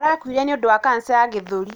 Arakuire nĩũndũ wa kanca ya gĩthũri.